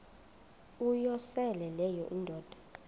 uyosele leyo indoda